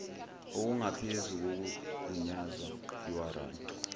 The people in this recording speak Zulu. okungaphezu kokugunyazwa iwaranti